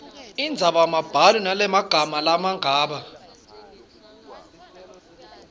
indzabambhalo lenemagama langabi